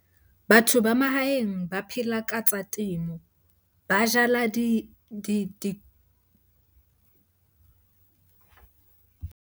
Batho ba mahaeng ba phela ka tsa temo, ba jala .